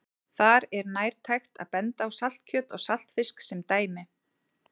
Þar er nærtækt að benda á saltkjöt og saltfisk sem dæmi.